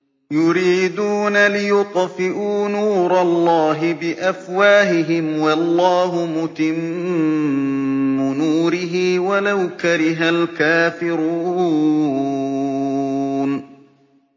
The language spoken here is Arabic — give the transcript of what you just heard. يُرِيدُونَ لِيُطْفِئُوا نُورَ اللَّهِ بِأَفْوَاهِهِمْ وَاللَّهُ مُتِمُّ نُورِهِ وَلَوْ كَرِهَ الْكَافِرُونَ